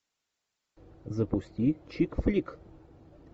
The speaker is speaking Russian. запусти чик флик